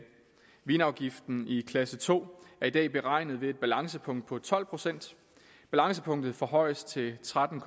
vinafgiften i klasse to er i dag beregnet ved et balancepunkt på tolv procent balancepunktet forhøjes til tretten